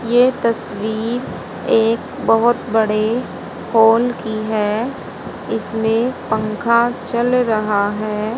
ये तस्वीर एक बहोत बड़े हॉल की है इसमें पंखा चल रहा है।